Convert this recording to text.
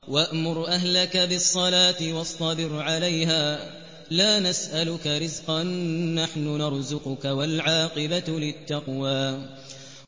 وَأْمُرْ أَهْلَكَ بِالصَّلَاةِ وَاصْطَبِرْ عَلَيْهَا ۖ لَا نَسْأَلُكَ رِزْقًا ۖ نَّحْنُ نَرْزُقُكَ ۗ وَالْعَاقِبَةُ لِلتَّقْوَىٰ